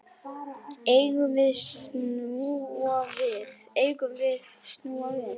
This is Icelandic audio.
Eigum við snúa við?